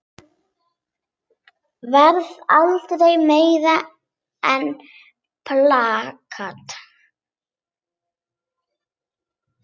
Varð aldrei meira en plakat.